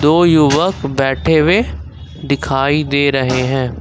दो युवक बैठे हुए दिखाई दे रहे हैं।